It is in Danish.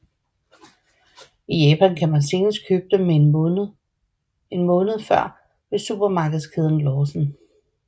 I Japan kan man senest købe dem en måned før ved supermarkedskæden Lawson